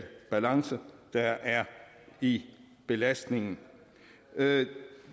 balance der er i belastningen